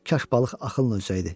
Kaş balıq ağılla ölsəydi.